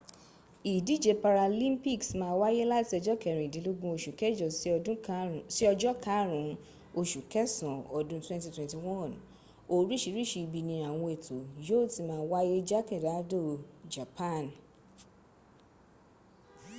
ìdíje paralympics máa wáyé láti ọjọ́ kẹ́rìndínlógún oṣù kẹjọ sí ojọ́ karùn ún oṣù kẹsàn án ọdún 2021 oríṣìíríṣìí ibi ni àwọn ètò yóò ti máa wáyé jákèjádò japan